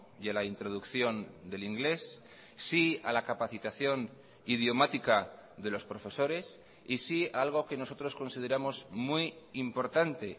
y a la introducción del inglés sí a la capacitación idiomática de los profesores y sí a algo que nosotros consideramos muy importante